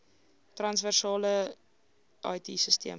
transversale it sisteme